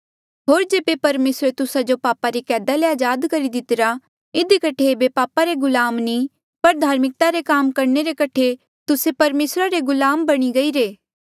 होर जेबे परमेसरे तुस्सा जो पापा री कैदा ले अजाद करी दितिरा इधी कठे ऐबे पाप रे गुलाम नी पर धार्मिकता रे काम करणे रे कठे तुस्से परमेसरा रे गुलाम बणी गईरे